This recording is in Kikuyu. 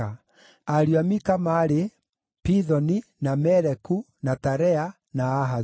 Ariũ a Mika maarĩ: Pithoni, na Meleku, na Tarea, na Ahazu.